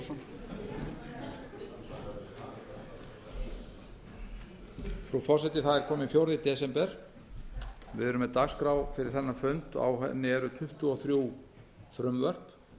frú forseti það er kominn fjórða desember við erum með dagskrá fyrir þennan fund og á henni eru tuttugu og þrjú frumvörp